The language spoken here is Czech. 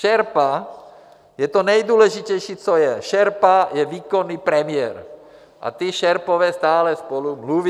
Šerpa je to nejdůležitější, co je, šerpa je výkonný premiér a ti šerpové stále spolu mluví.